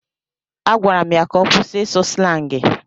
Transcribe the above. Agwara m ya ka ọ kwụsị ịsụ slangị.